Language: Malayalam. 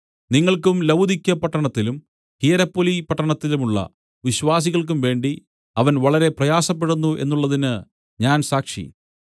നിങ്ങൾക്കും ലവുദിക്യപട്ടണത്തിലും ഹിയരപൊലിപട്ടണത്തിലുമുള്ള വിശ്വാസികള്‍ക്കും വേണ്ടി അവൻ വളരെ പ്രയാസപ്പെടുന്നു എന്നുള്ളതിന് ഞാൻ സാക്ഷി